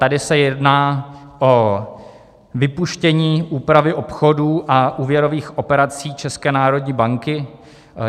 Tady se jedná o vypuštění úpravy obchodů a úvěrových operací České národní banky.